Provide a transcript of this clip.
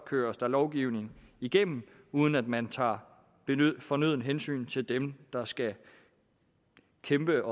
køres der lovgivning igennem uden at man tager fornødent hensyn til dem der skal kæmpe